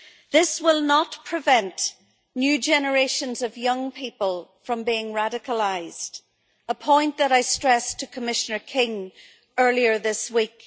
This will not prevent new generations of young people from being radicalised, a point that I stressed to Commissioner King earlier this week.